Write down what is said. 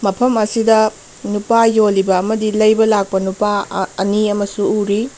ꯃꯐꯝ ꯑꯁꯤꯗ ꯅꯨꯄꯥ ꯌꯣꯜꯂꯤꯕ ꯑꯃꯗꯤ ꯂꯩꯕ ꯂꯥꯛꯄ ꯅꯨꯄꯥ ꯑ ꯑꯅꯤ ꯑꯃꯁꯨ ꯎꯔꯤ꯫